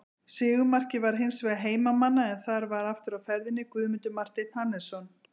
Sigurmarkið var hins vegar heimamanna en þar var aftur á ferðinni Guðmundur Marteinn Hannesson.